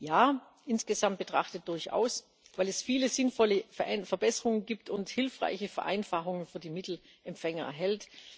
Ja, insgesamt betrachtet durchaus, weil es viele sinnvolle Verbesserungen gibt und hilfreiche Vereinfachungen für die Mittelempfänger enthält.